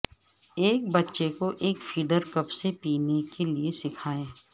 ایک بچے کو ایک فیڈر کپ سے پینے کے لئے سکھائیں